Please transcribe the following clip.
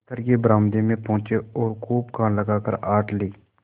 दफ्तर के बरामदे में पहुँचे और खूब कान लगाकर आहट ली